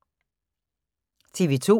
TV 2